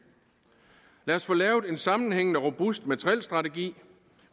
lad os få lavet en sammenhængende robust materielstrategi